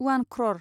उवान क्र'र